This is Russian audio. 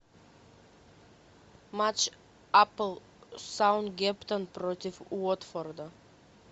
матч апл саутгемптон против уотфорда